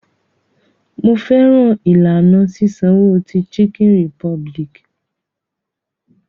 Mo fẹ́ràn ìlànà sísanwo ti Chicken Republic.